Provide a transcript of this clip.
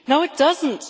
No, it doesn't.